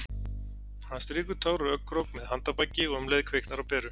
Hann strýkur tár úr augnakrók með handarbaki- og um leið kviknar á peru.